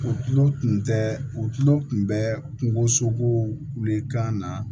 U tulo tun tɛ u tulo tun bɛ kungosogow wuli kan